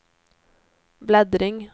bläddring